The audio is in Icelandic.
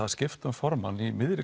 að skipta um formann í miðri